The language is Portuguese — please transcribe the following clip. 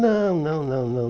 Não, não, não. não.